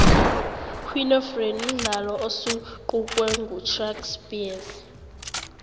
queen of rain mdlalo osunqukwe nqushhack speex